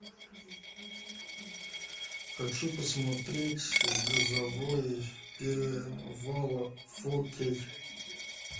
хочу посмотреть грозовой перевал фо кей